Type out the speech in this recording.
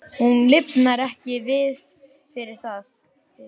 Hún lifnar ekki við fyrir það.